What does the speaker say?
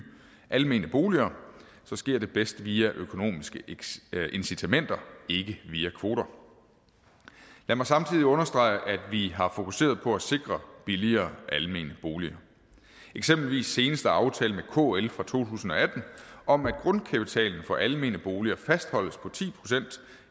almene boliger så sker det bedst via økonomiske incitamenter ikke via kvoter lad mig samtidig understrege at vi har fokuseret på at sikre billigere almene boliger eksempelvis seneste aftale med kl fra to tusind og atten om at grundkapitalen for almene boliger fastholdes på ti procent